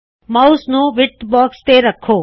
mouse ਨੂੰ width box ਤੇ ਰੱਖੋ